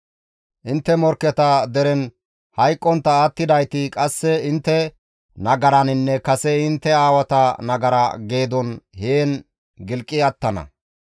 Intte morkketa deren hayqqontta attidayti qasse intte nagaraninne kase intte aawata nagara geedon heen gilqi attana.